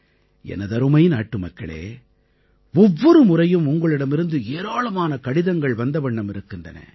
எனதருமை நாட்டுமக்களே ஒவ்வொரு முறையும் உங்களிடமிருந்து ஏராளமான கடிதங்கள் வந்தவண்ணம் இருக்கின்றன